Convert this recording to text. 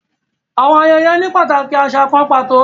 Àwọn ayẹyẹ ni pataki aṣa kàn pàtó